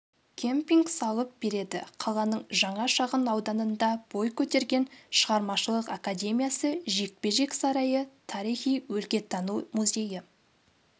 кемпинг салып береді қаланың жаңа шағын ауданында бой көтерген шығармашылық академиясы жекпе-жек сарайы тарихи-өлкетану музейі